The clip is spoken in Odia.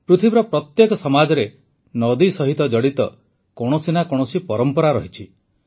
ପୃଥିବୀର ପ୍ରତ୍ୟେକ ସମାଜରେ ନଦୀ ସହିତ ଜଡ଼ିତ କୌଣସି ନା କୌଣସି ପରମ୍ପରା ରହିଛି